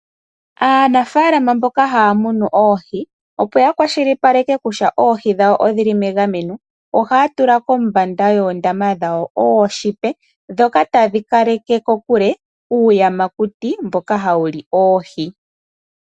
Aanafaalama mboka haya munu oohi opo ya kwashilipaleke kutya oohi dhawo odhili megameno, ohaya tula kombanda yoondama dhawo ooshipa, ndhoka tadhi kaleke kokule uuyamakuti mboka hawu li oohi.